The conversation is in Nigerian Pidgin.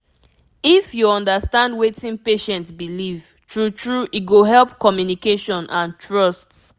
if you understand wetin patient believe true true e go help communication and trust